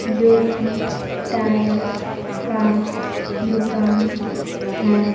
जोकि टायर का दुकान है।